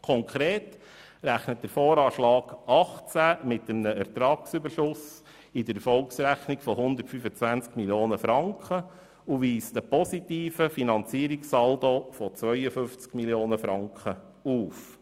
Konkret rechnet der VA 2018 mit einem Ertragsüberschuss in der Erfolgsrechnung von 125 Mio. Franken und weist einen positiven Saldo von 52 Mio. Franken auf.